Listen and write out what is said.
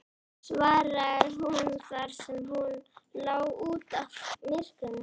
svaraði hún þar sem hún lá út af í myrkrinu.